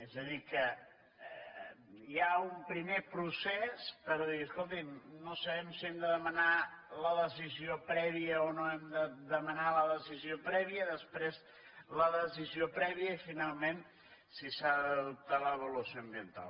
és a dir que hi ha un primer procés per dir escolti’m no sabem si hem de demanar la decisió prèvia o no hem de demanar la decisió prèvia després la decisió prèvia i finalment si s’ha d’adoptar l’avaluació ambiental